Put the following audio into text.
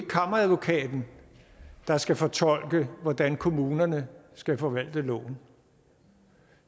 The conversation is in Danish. kammeradvokaten der skal fortolke hvordan kommunerne skal forvalte loven